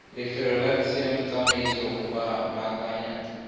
lefelo la tsamaiso go baakanya